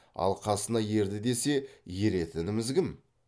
ал қасына ерді десе еретініміз кім